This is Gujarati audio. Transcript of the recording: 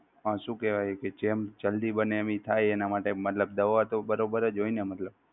શું કેહવાય કે જેમ જલ્દી બને એવી થાય એના માટે મતલબ દવા તો બરોબર જ હોય ને મતલબ